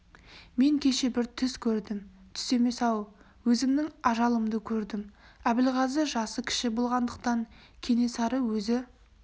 мен кеше бір түс көрдім түс емес-ау өзімнің ажалымды көрдім әбілғазы жасы кіші болғандықтан кенесары өзі